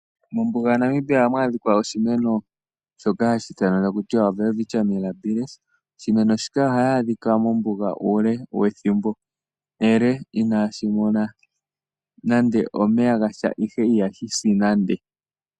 Mombuga yaNamibia ohamu adhikwa oshimeno shoka hashi ithanwa ta ku tiwa Welwitschia Mirabilis. Oshimeno shika ohayi adhika mombuga uule wethimbo ele inashimona nande omeya gatya ihe ihashi si nande.